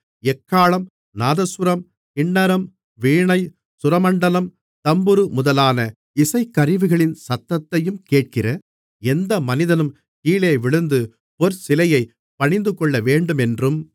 எக்காளம் நாதசுரம் கின்னரம் வீணை சுரமண்டலம் தம்புரு முதலான இசைக்கருவிகளின் சத்தத்தையும் கேட்கிற எந்த மனிதனும் கீழேவிழுந்து பொற்சிலையைப் பணிந்துகொள்ளவேண்டுமென்றும்